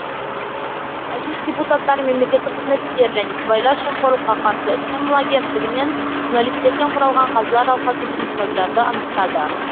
мәжіліс депутаттары мемлекеттік қызмет істері және сыбайлас жемқорлыққа қарсы іс қимыл агенттігі мен журналистерден құралған қазылар алқасы жеңімпаздарды анықтады